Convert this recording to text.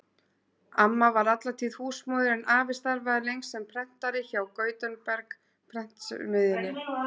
Amma var alla tíð húsmóðir en afi starfaði lengst sem prentari hjá Gutenberg-prentsmiðjunni.